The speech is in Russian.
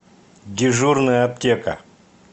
дежурная аптека